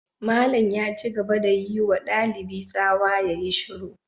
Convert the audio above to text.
Malam ya ci gaba da yi wa dalibi tsawa ya yi shiru.